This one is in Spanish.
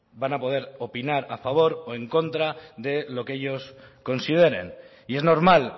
van a poder opinar a favor o en contra de lo que ellos consideren y es normal